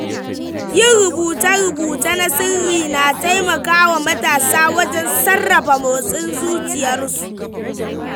Yin rubuce-rubuce na sirri na taimaka wa matasa wajen sarrafa motsin zuciyarsu.